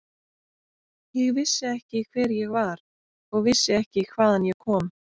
Ég vissi ekki hver ég var og vissi ekki hvaðan ég kom.